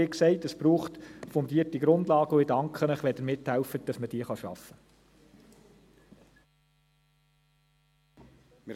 Wie gesagt, es braucht fundierte Grundlagen, und ich danke Ihnen, wenn Sie mithelfen, dass man diese schaffen kann.